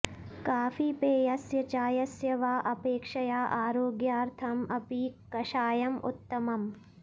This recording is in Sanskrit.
काफीपेयस्य चायस्य वा अपेक्षया आरोग्यार्थम् अपि कषायम् उत्तमम्